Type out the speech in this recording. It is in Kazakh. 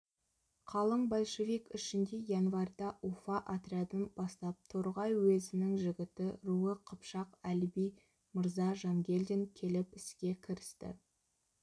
қалың большевик ішінде январьда уфа отрядын бастап торғай уезінің жігіті руы қыпшақ әліби мырза жангелдин келіп іске кірісті